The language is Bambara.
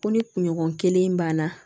Ko ni kunɲɔgɔn kelen banna